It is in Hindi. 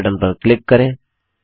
सेव बटन पर क्लिक करें